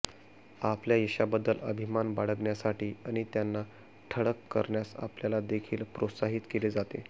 आपल्या यशाबद्दल अभिमान बाळगण्यासाठी आणि त्यांना ठळक करण्यास आपल्याला देखील प्रोत्साहित केले जाते